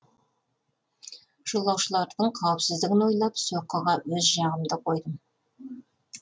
жолаушылардың қауіпсіздігін ойлап соққыға өз жағымды қойдым